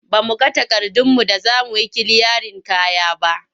Ba mu ga takardunmu da za mu yi kiliyarin kaya ba.